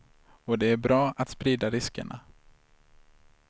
Och det är bra att sprida riskerna.